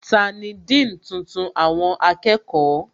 Tani Dean tuntun àwọn akẹ́kọ̀ọ́?